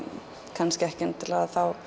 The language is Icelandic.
kannski ekki endilega þá